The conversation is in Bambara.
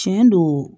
Tiɲɛ don